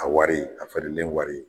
A wari, a feerelen wari.